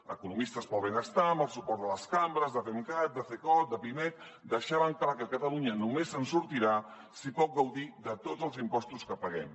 economistes pel benestar amb el suport de les cambres de femcat de cecot de pimec deixaven clar que catalunya només se’n sortirà si pot gaudir de tots els impostos que paguem